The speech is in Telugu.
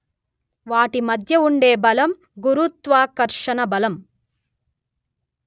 వాటి మధ్య ఉండే బలం గురుత్వాకర్షణ బలం